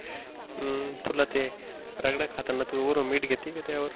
हम्म तुला ते रगाडा खाताना वरून मीठ घेती का त्या वर?